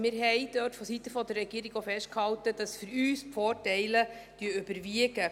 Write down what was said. Wir hielten dort vonseiten der Regierung auch fest, dass für uns die Vorteile überwiegen.